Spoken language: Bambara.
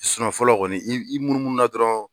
fɔlɔ kɔni i i munu munu na dɔrɔn